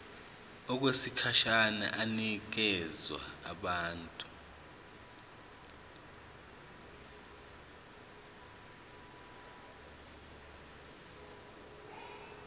okwesikhashana inikezwa abantu